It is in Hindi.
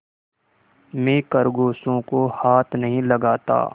मैं खरगोशों को हाथ नहीं लगाता